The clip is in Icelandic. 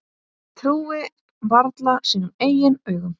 Trúir varla sínum eigin augum.